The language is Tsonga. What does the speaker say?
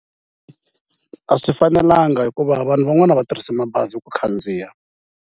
A swi fanelanga hikuva vanhu van'wani a va tirhisi mabazi ku khandziya.